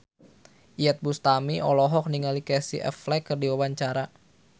Iyeth Bustami olohok ningali Casey Affleck keur diwawancara